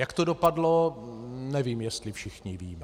Jak to dopadlo, nevím, jestli všichni víme.